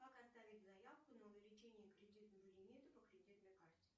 как оставить заявку на увеличение кредитного лимита по кредитной карте